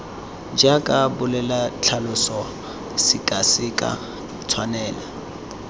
jaaka bolela tlhalosa sekaseka tshwaela